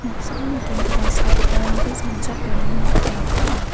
noksao nikenggipa sagiparangko sanchakram biap ong·a.